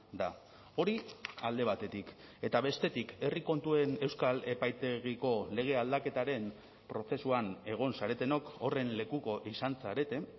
da hori alde batetik eta bestetik herri kontuen euskal epaitegiko lege aldaketaren prozesuan egon zaretenok horren lekuko izan zarete